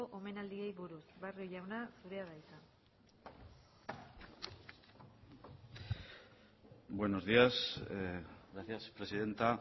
omenaldiei buruz barrio jauna zurea da hitza buenos días gracias presidenta